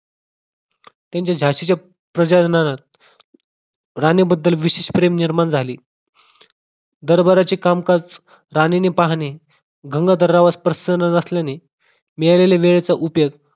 त्यांच्या झाशीच्या प्रजा जनांत राणीबद्दल विशेष प्रेम निर्माण झाले. दरबाराचे कामकाज राणीने पाहणे. गंगाधर रावास पसंद नसल्याने, मिळालेल्या वेळेचा उपयोग